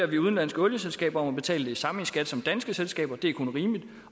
vi udenlandske olieselskaber om at betale det samme i skat som danske selskaber det er kun rimeligt